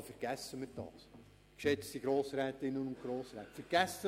Also vergessen wir das, geschätzte Grossrätinnen und Grossräte!